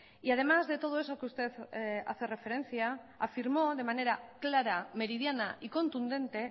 y además de todo eso que usted hace referencia afirmó de manera clara meridiana y contundente